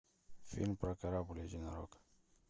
фильм про корабль единорог